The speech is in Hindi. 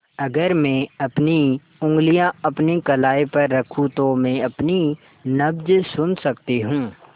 अगर मैं अपनी उंगलियाँ अपनी कलाई पर रखूँ तो मैं अपनी नब्ज़ सुन सकती हूँ